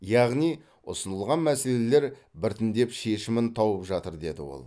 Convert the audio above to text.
яғни ұсынылған мәселелер біртіндеп шешімін тауып жатыр деді ол